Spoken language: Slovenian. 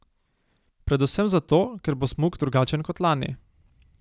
Predvsem zato, ker bo smuk drugačen kot lani.